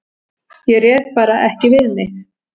Ég réð bara ekki við mig.